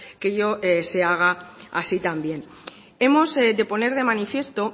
que ello se haga así también hemos de poner de manifiesto